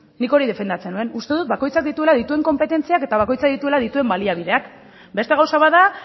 nik hori defendatzen nuen uste dut bakoitzak dituela dituen konpetentziak eta bakoitzak dituela dituen baliabideak beste gauza bat da